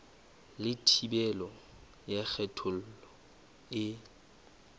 le thibelo ya kgethollo e